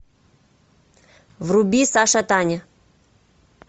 вруби саша таня